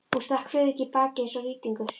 Hún stakk Friðrik í bakið eins og rýtingur.